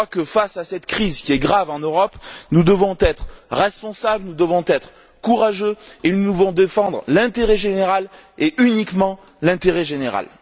Face à cette crise, qui est grave, en Europe, nous devons être responsables, nous devons être courageux et nous devons défendre l'intérêt général, et uniquement l'intérêt général.